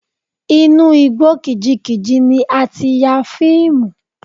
Inú igbó kìjikìji ni a ti ya fíìmù.